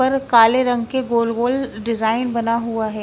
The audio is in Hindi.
पर काले रंग के गोल-गोल डिजाइन बना हुआ है।